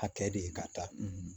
Hakɛ de ye ka taa